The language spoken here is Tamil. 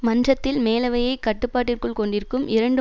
மன்றத்தில் மேலவையைக் கட்டுப்பாட்டிற்குள் கொண்டிருக்கும் இரண்டு